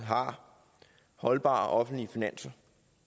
har holdbare offentlige finanser